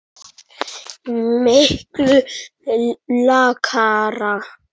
Miklu lakara.